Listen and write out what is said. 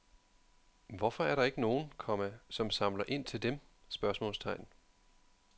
Hvorfor er der ikke nogen, komma som samler ind til dem? spørgsmålstegn